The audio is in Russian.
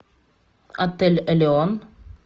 отель элеон